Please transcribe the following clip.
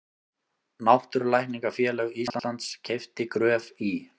Náttúrulækningafélag Íslands keypti Gröf í